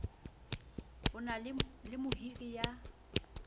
o na le mohiri ya